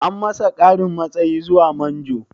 An masa ƙarin matsayi zuwa manjo?